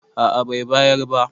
a a Bai bayar ba